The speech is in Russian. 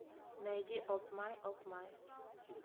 найди опмай опмай